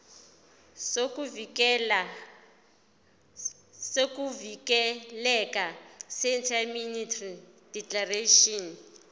sokuvikeleka seindemnity declaration